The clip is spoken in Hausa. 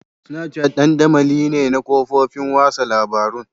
Snapchat dandamali ne na kafofin watsa labarun.